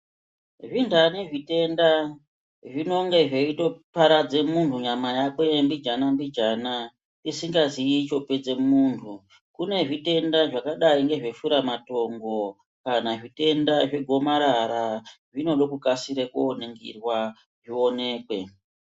Zvindani zvitenda zvinonge zveitoparadze munhu nyama yakwe mbijana mbijana isingazii chopedze munhu , kune zvitenda zvakadai ngezveshura matongo kana zvitenda zvegomarara zvenode kukasire koningirwa zvionekwe.